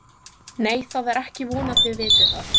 Nei, það er ekki von að þið vitið það.